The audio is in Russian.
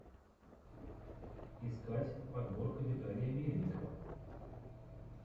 искать подборка виталия мельникова